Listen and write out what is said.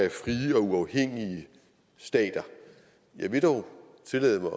af frie og uafhængige stater jeg vil dog tillade mig